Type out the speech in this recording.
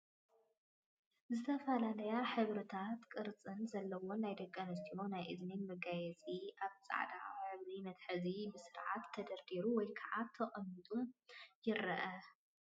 ዝተፈላለየ ሕብርን ቅርፅን ዘለዎ ናይ ደቂ ኣንስትዮ ናይ እዝኒ መጋየፂ ኣብ ፃዕዳ ዝሕብሩ መትሐዚኡ ብስርዓት ተደርዲሩ ወይ ከዓ ተቀሚጡ ይርአ፡፡